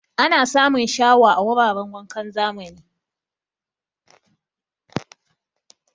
Ana samun shawa a wuraran wankan zamani.